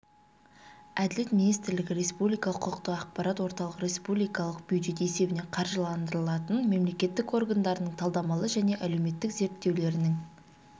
әділет министрлігі республикалық құқықтық ақпарат орталығы республикалық бюджет есебінен қаржыландырылатын мемлекеттік органдарының талдамалы және әлеуметтік зерттеулерінің